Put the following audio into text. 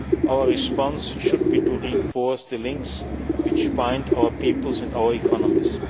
our response should be to reinforce the links which bind our peoples and our economies.